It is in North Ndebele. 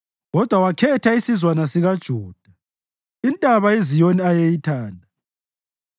kodwa wakhetha isizwana sikaJuda, iNtaba iZiyoni ayeyithanda.